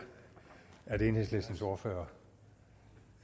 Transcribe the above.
at enhedslistens ordfører